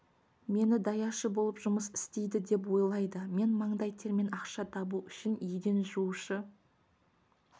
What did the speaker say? мені даяшы болып жұмыс істейді деп ойлайды мен маңдай термен ақша табу үшін еден жуушы